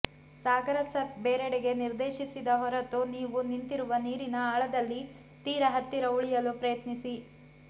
ಸಾಗರ surf ಬೇರೆಡೆಗೆ ನಿರ್ದೇಶಿಸದ ಹೊರತು ನೀವು ನಿಂತಿರುವ ನೀರಿನ ಆಳದಲ್ಲಿ ತೀರ ಹತ್ತಿರ ಉಳಿಯಲು ಪ್ರಯತ್ನಿಸಿ